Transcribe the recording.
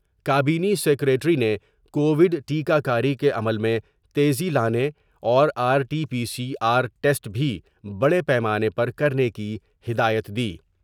کابینی secretary نے Covid ٹیکہ کاری کے عمل میں تیزی لانے اور R T P C R test بھی بڑے پیمانے پر کرنے کی ہدایت دی ۔